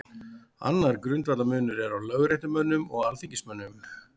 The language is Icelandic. Annar grundvallarmunur er á lögréttumönnum og alþingismönnum.